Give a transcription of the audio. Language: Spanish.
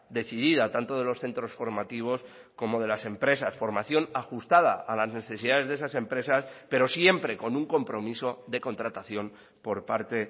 decidida tanto de los centros formativos como de las empresas formación ajustada a las necesidades de esas empresas pero siempre con un compromiso de contratación por parte